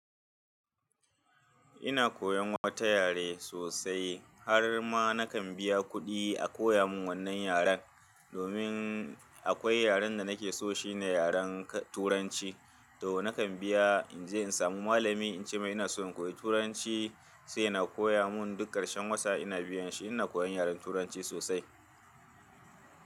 Ina koyan wata yare sosai har ma nakan biya kuɗi a koya mun wannan yaren. Domin akwai yaren da nake so shine yaren Turanci. To nakan biya, in je in samu malami in ce mai ina so in koyi Turanci sai ya na koya mun duk ƙarshen wata ina biyan shi. Ina koyan yaren Turanci sosai.